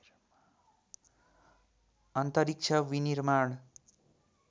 अन्तरिक्ष विनिर्माण